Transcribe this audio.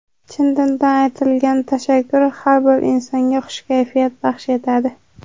chin dildan aytilgan tashakkur har bir insonga xush kayfiyat baxsh etadi.